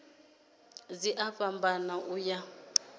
dzi a fhambana u ya